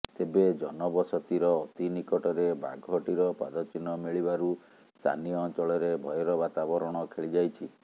ତେବେ ଜନବସତିର ଅତି ନିକଟରେ ବାଘଟିର ପାଦଚିହ୍ନ ମିଳିବାରୁ ସ୍ଥାନୀୟ ଅଞ୍ଚଳରେ ଭୟର ବାତାବରଣ ଖେଳିଯାଇଛି